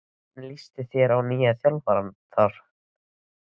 Hvernig lýst þér á nýja þjálfarann þar?